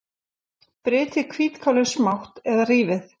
Brytjið hvítkálið smátt eða rífið.